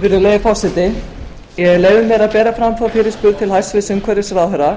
virðulegi forseti ég leyfi mér að bera fram þá fyrirspurn til hæstvirts umhverfisráðherra